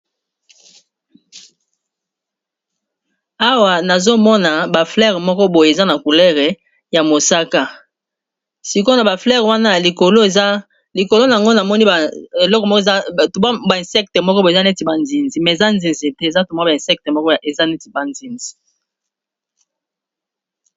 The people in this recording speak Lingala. Awa nazomona ba fleures moko boye eza na couleur ya mosaka sikona ba fleures wana ya likolo eza likolo nango na moni ba insectes moko baza neti nzinzi, mais eza ba nzinzi te neti ba nzinzi .